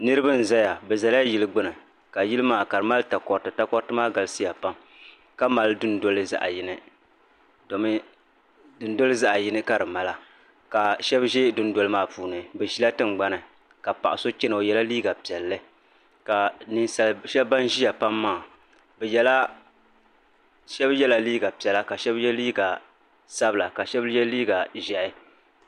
Niriba n zaya bɛ zala yili gbini ka yili maa ka di mali takoriti takoriti maa galisiya pam ka mali dundoli zaɣa yini domi dundoli zaɣa yini ka di mala ka sheba ʒɛ dundoli maa puuni bɛ ʒila tingbani ka ninsali sheba ban ʒia pam maa sheba yela liiga piɛla ka sheba ye liiga sabla ka sheba ye liiga ʒehi.